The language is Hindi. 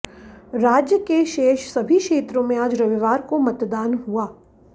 राज्य के शेष सभी क्षेत्रों में आज रविवार को मतदान हुआ